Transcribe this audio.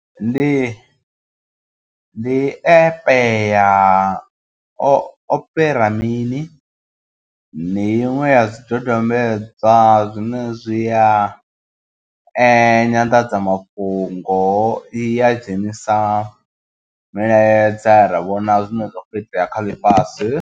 Ndi ndi app ya opera mini ndi iṅwe ya zwidodombedzwa zwine zwi a nyanḓadzamafhungo i ya dzhenisa miladza ra vhona zwine zwa kho itea kha ḽifhasi.